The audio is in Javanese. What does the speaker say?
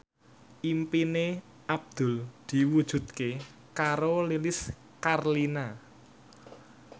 impine Abdul diwujudke karo Lilis Karlina